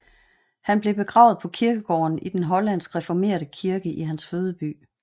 Han blev begravet på kirkegården i den hollandske reformerte kirke i hans fødeby